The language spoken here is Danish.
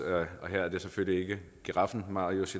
herre marcus